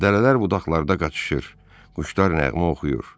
Dərələr budaqlarda qaçışır, quşlar nəğmə oxuyur.